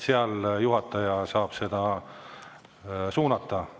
Seal juhataja saab seda suunata.